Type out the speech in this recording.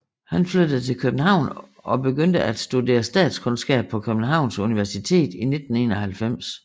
Han flyttede til København og begyndte at studere statskundskab på Københavns Universitet i 1991